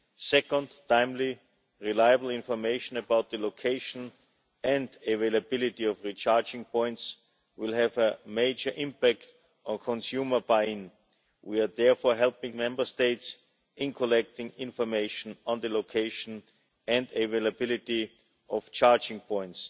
Second, timely, reliable information about the location and availability of recharging points will have a major impact on consumer buy in. We are therefore helping Member States in collecting information on the location and availability of charging points.